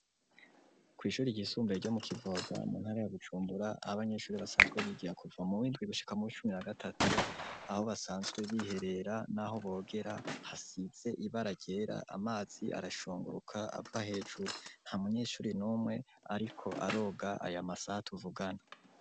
Kwishure ryisumbuye ryo mu kivoga mu ntara ya bujumbura ah’abanyeshure basanzwe bigira kuva muw’indwi gushika muw’icumi na gatatu aho basanzwe biherera naho bogera hasize ibara ryera, amazi arashunguruka ava hejuru, ntamunyeshure numwe ariko aroga aya masaha tuvugana.